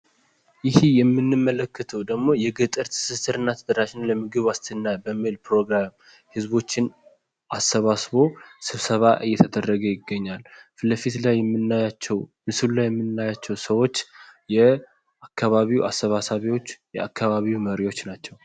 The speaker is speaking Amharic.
ይሄ የምንመለከተው ደግሞ የገጠር ትስስር እና ተደራሽነት ለምግብ ዋስትና ፕሮግራም ህዝቦችን አሰባስቦ ስብሰባ እየተደረገ ይገኛል። ፊትለፊት ላይ የምናያቸው ምስሉ ላይ የምናያቸው ሰዎች የአካባቢው አሰባሳቢዎች የአካባቢው መሪዎች ናቸው።